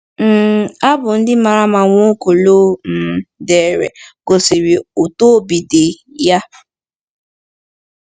um Abụ ndị mara mma Nwaokolo um dere gosiri otú obi dị ya.